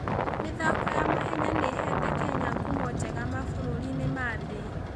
mĩthako ya mahenya nĩ ĩheete Kenya ngumo njega mabũrũri-inĩ ma thĩ.